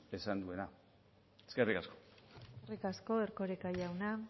esan duena eskerrik asko eskerrik asko erkoreka jauna